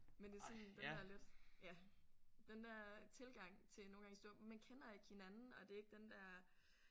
Men det er sådan den der lidt ja. Den der tilgang til nogle gang i stor man kender ikke hinanden og det er ikke den der